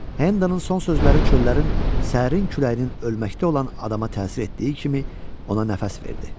Hendonun son sözləri çöllərin sərin küləyinin ölməkdə olan adama təsir etdiyi kimi ona nəfəs verdi.